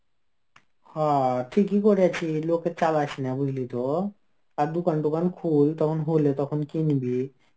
হ ঠিকই করেছি. লোকের চালাস না বুঝলি তো. আর দোকান টোকান খোল তখন হলে তখন কিনবি.